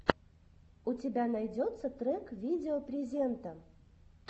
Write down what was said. у тебя найдется трек видео презента